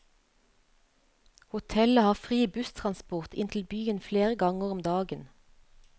Hotellet har fri busstransport inn til byen flere ganger om dagen.